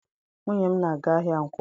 Nwunye m na-aga ahịa Nkwọ.